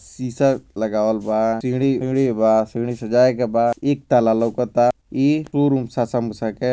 शीशा लगावल बा सीढ़ी सीढ़ी बा सीढ़ी से जाय के बा इ लौकाता इ शोरुम के --